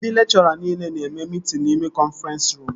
Ndị lekchọra nile na-eme mitin n'ime kọnfrens ruum